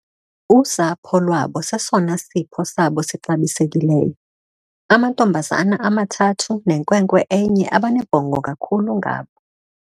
Usapho lwabo sesona sipho sabo sixabisekileyo. Amantombazana amathathu nenkwenkwe enye abanebhongo kakhulu ngabo.